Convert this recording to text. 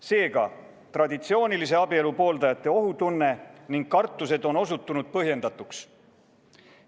Seega, traditsioonilise abielu pooldajate ohutunne ning kartused on osutunud põhjendatuks.